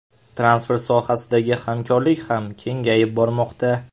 Transport sohasidagi hamkorlik ham kengayib bormoqda.